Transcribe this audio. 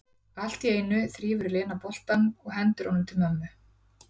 Allt í einu þrífur Lena boltann og hendir honum til mömmu.